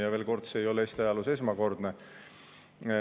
Ja veel kord: see ei ole Eesti ajaloos esmakordne.